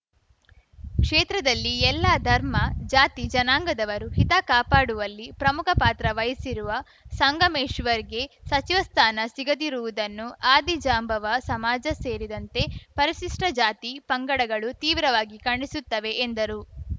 ಕ್ಷೇತ್ರದಲ್ಲಿ ಎಲ್ಲಾ ಧರ್ಮ ಜಾತಿಜನಾಂಗದವರು ಹಿತ ಕಾಪಾಡುವಲ್ಲಿ ಪ್ರಮುಖ ಪಾತ್ರ ವಹಿಸಿರುವ ಸಂಗಮೇಶ್ವರ್‌ಗೆ ಸಚಿವ ಸ್ಥಾನ ಸಿಗದಿರುವುದನ್ನು ಆದಿ ಜಾಂಬವ ಸಮಾಜ ಸೇರಿದಂತೆ ಪರಿಶಿಷ್ಟಜಾತಿಪಂಗಡಗಳು ತೀವ್ರವಾಗಿ ಖಂಡಿಸುತ್ತವೆ ಎಂದರು